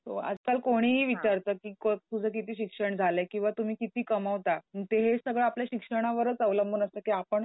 आजकाल कोणीही विचारतं की तुझं किती शिक्षण झालंय? किंवा तुम्ही किती कमवता? ते हे सगळं आपल्या शिक्षणावरचं अवलंबून असतं की आपण